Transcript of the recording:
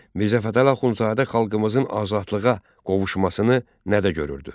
Mirzə Fətəli Axundzadə xalqımızın azadlığa qovuşmasını nədə görürdü?